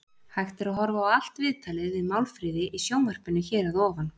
Hægt er að horfa á allt viðtalið við Málfríði í sjónvarpinu hér að ofan.